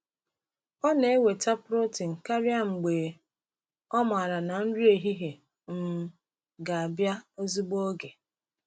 Ọ na-enweta protein karịa mgbe ọ maara na nri ehihie um ga-abịa ozigbo oge.